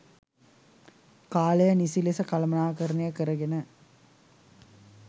කාලය නිසි ලෙස කළමනාකරණය කරගෙන.